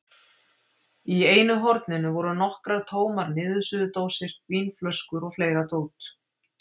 Í einu horninu voru nokkrar tómar niðursuðudósir, vínflöskur og fleira dót.